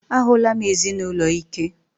A hụla m ezinụlọ ike.